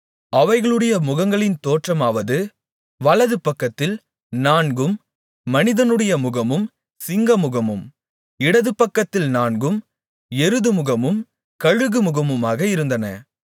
அவைகளுடைய முகங்களின் தோற்றமாவது வலதுபக்கத்தில் நான்கும் மனிதனுடைய முகமும் சிங்கமுகமும் இடது பக்கத்தில் நான்கும் எருதுமுகமும் கழுகு முகமுமாக இருந்தன